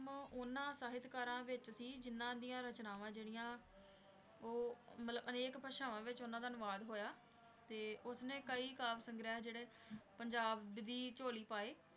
ਉਹਨਾਂ ਸਾਹਿਤਕਾਰਾਂ ਵਿੱਚ ਸੀ ਜਿਹਨਾਂ ਦੀਆਂ ਰਚਨਾਵਾਂ ਜਿਹੜੀਆਂ ਉਹ ਮਤਲਬ ਅਨੇਕ ਭਾਸ਼ਾਵਾਂ ਵਿੱਚ ਉਹਨਾਂ ਦਾ ਅਨੁਵਾਦ ਹੋਇਆ, ਤੇ ਉਸਨੇ ਕਈ ਕਾਵਿ ਸੰਗ੍ਰਹਿ ਜਿਹੜੇ ਪੰਜਾਬ ਦੀ ਝੋਲੀ ਪਾਏ।